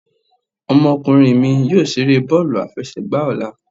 Ọmọkunrin mí yóò ṣere bọọlu afẹsẹgba ọla.